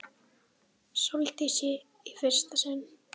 Sóldísi í fyrsta sinn.